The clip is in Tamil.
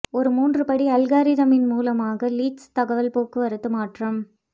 ஒரு மூன்று படி அல்காரிதமின் மூலமாக லீட்ஸ் தகவல் போக்குவரத்து மாற்றம்